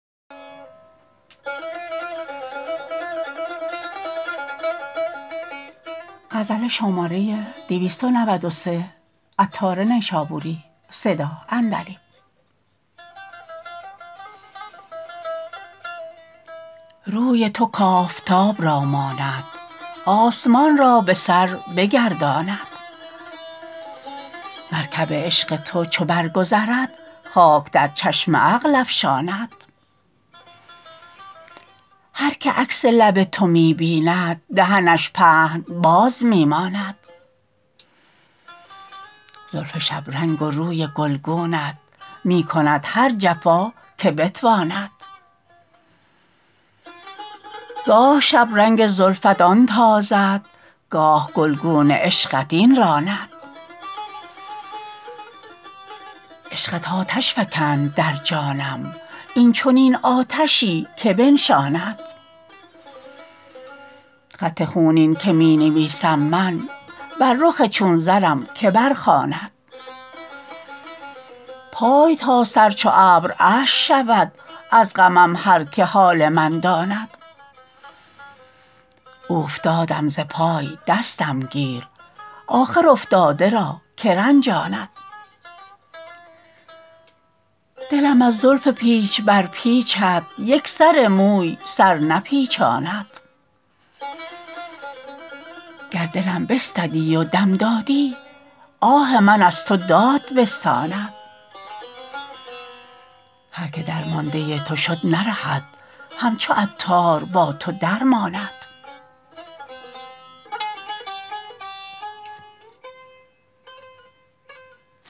روی تو کافتاب را ماند آسمان را به سر بگرداند مرکب عشق تو چو برگذرد خاک در چشم عقل افشاند هر که عکس لب تو می بیند دهنش پهن باز می ماند زلف شبرنگ و روی گلگونت می کند هر جفا که بتواند گاه شب رنگ زلفت آن تازد گاه گلگون عشقت این راند عشقت آتش فکند در جانم این چنین آتشی که بنشاند خط خونین که می نویسم من بر رخ چون زرم که برخواند پای تا سر چو ابر اشک شود از غمم هر که حال من داند اوفتادم ز پای دستم گیر آخر افتاده را که رنجاند دلم از زلف پیچ بر پیچت یک سر موی سر نپیچاند گر دلم بستدی و دم دادی آه من از تو داد بستاند هر که درمانده تو شد نرهد همچو عطار با تو درماند